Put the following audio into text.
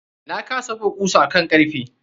Na kasa buga kusan a kan karfe.